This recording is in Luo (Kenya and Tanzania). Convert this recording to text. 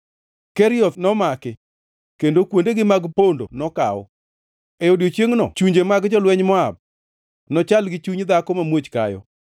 Kerioth nomaki kendo kuondegi mag pondo nokaw. E odiechiengno chunje mag jolwenj Moab nochal gi chuny dhako mamuoch kayo.